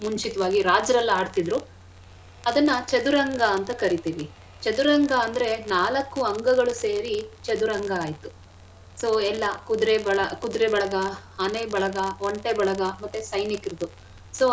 ಮುಂಚಿತವಾಗಿ ರಾಜರೆಲ್ಲ ಆಡ್ತಿದ್ರು ಅದನ್ನ ಚದುರಂಗ ಅಂತ ಕರೀತಿವಿ. ಚದುರಂಗ ಅಂದ್ರೆ ನಾಲಕ್ಕು ಅಂಗಗಳು ಸೇರಿ ಚದುರಂಗ ಆಯ್ತು so ಎಲ್ಲಾ ಕುದುರೆ ಬಳ~ ಕುದುರೆ ಬಳಗ, ಆನೆ ಬಳಗ, ಒಂಟೆ ಬಳಗ ಮತ್ತೆ ಸೈನಿಕ್ರದ್ದು so .